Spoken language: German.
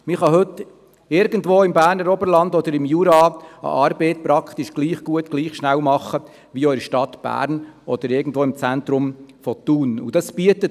Es ist heute möglich, irgendwo im Berner Oberland oder im Jura eine Arbeit fast gleich gut und gleich schnell zu erledigen, wie das in der Stadt Bern oder irgendwo im Zentrum von Thun möglich ist.